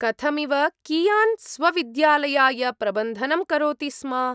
कथमिव कियान् स्वविद्यालयाय प्रबन्धनं करोति स्म?